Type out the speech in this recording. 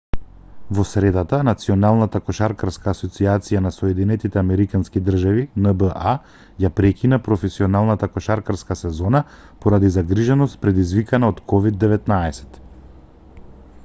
во средата националната кошаркарска асоцијација на соединетите американски држави нба ја прекина професионалната кошаркарска сезона поради загриженост предизвикана од ковид-19